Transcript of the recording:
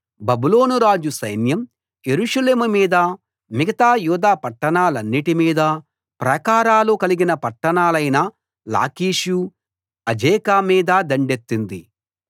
బబులోను రాజు సైన్యం యెరూషలేము మీద మిగతా యూదా పట్టాణాలన్నిటి మీద ప్రాకారాలు కలిగిన పట్టణాలైన లాకీషు అజేకా మీద దండెత్తింది